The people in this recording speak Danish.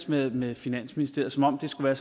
med med finansministeriet som om det skulle være